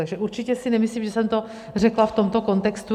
Takže určitě si nemyslím, že jsem to řekla v tomto kontextu.